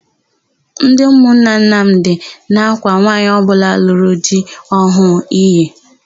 Ndị ụmụnna Nnamdị na-ákwà nwaanyị ọbụla lụrụ di ọhụụ iyi.